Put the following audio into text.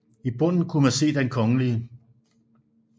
I bunden kunne man se Den Kgl